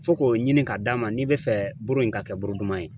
Fo k'o ɲini k'a d d'a ma n'i bɛ fɛ buuru in ka kɛ buuru duman ye